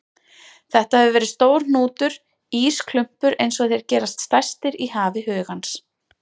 Þetta hefur verið stór hnútur, ísklumpur einsog þeir gerast stærstir í hafi hugans.